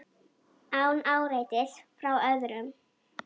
Án áreitis frá öðrum.